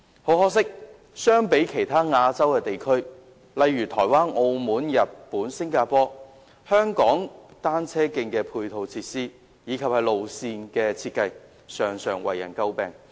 很可惜，相比其他亞洲地區，例如台灣、澳門、日本及新加坡，香港單車徑的配套設施及路線的設計，常常為人詬病。